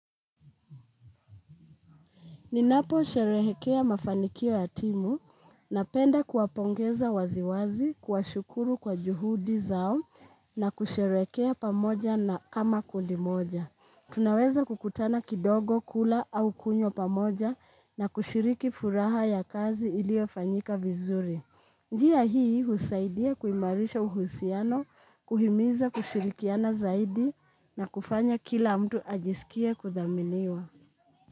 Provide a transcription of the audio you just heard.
Ninapo sherehekea mafanikio ya timu, napenda kuwapongeza waziwazi kuwashukuru kwa juhudi zao na kusherehekea pamoja na kama kundi moja. Tunaweza kukutana kidogo kula au kunywa pamoja na kushiriki furaha ya kazi iliyofanyika vizuri. Njia hii husaidia kuimarisha uhusiano, kuhimiza kushirikiana zaidi na kufanya kila mtu ajisikie kuthaminiwa.